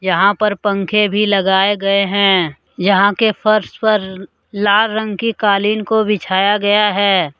यहां पर पंखे भी लगाए गए हैं यहां के फर्श पर लाल रंग की कालीन को बिछाया गया है।